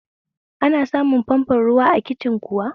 Ana samun famfon ruwa a kicin kuwa?